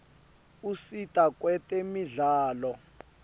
usita kwetemidlalo